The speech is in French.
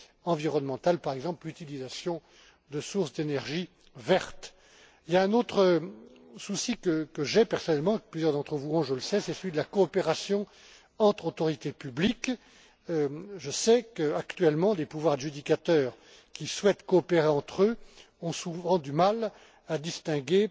environnementales, par exemple l'utilisation de sources d'énergie vertes. Il y a un autre souci que j'ai personnellement et que plusieurs d'entre vous partagent, je le sais, c'est celui de la coopération entre autorités publiques. Je sais qu'actuellement, des pouvoirs adjudicateurs qui souhaitent coopérer entre eux ont souvent du mal à distinguer